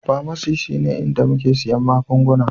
Pharmacy shine inda muke siyan magunguna